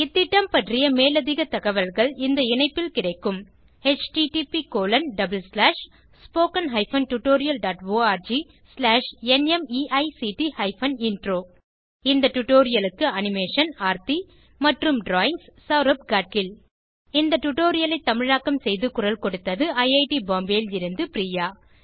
இந்த திட்டம் பற்றிய மேலதிக தகவல்கள் இந்த இணைப்பில் கிடைக்கும் httpspoken tutorialorgNMEICT Intro இந்த டுடோரியலுக்கு அனிமே ஷன் ஆர்த்தி மற்றும் ட்ராயிங்ஸ் செளரப் காட்கில் இந்த டுடோரியலை தமிழாக்கம் செய்து குரல் கொடுத்தது ஐஐடி பாம்பேவில் இருந்து பிரியா